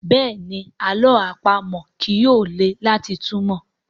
Béèni àlọ́ àpamọ̀ yí yóò lẹ láti túmọ.